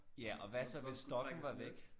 Ja og hvad så hvis stokken var væk?